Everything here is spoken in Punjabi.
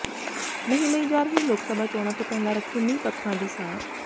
ਨਹੀਂ ਲਈ ਜਾ ਰਹੀ ਲੋਕ ਸਭਾ ਚੋਣਾਂ ਤੋਂ ਪਹਿਲਾਂ ਰੱਖੇ ਨੀਂਹ ਪੱਥਰਾਂ ਦੀ ਸਾਰ